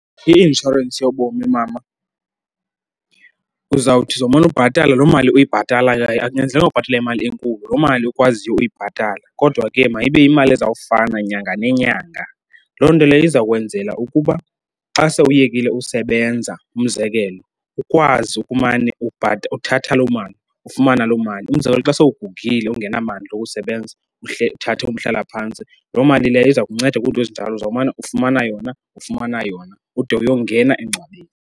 I-inshorensi yobomi mama uzawuthi, uzomane ubhatala loo mali uyibhatalayo, akunyanzelekanga ubhatale mali enkulu. Loo mali ukwaziyo uyibhatala, kodwa ke mayibe yimali ezawufana nyanga nenyanga. Loo nto leyo iza kwenzela ukuba xa sewuyekile usebenza umzekelo, ukwazi ukumane uthatha loo mali, ufumana loo mali. Umzekelo, xa sowugugile ungenamandla okusebenza uthathe umhlalaphantsi, loo mali leyo iza kunceda kwiinto ezinjalo. Uzawumane ufumana yona, ufumana yona ude uyongena engcwabeni.